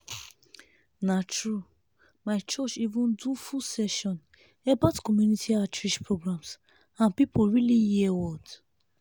na true—my church even do full session about community outreach programs and people really hear word.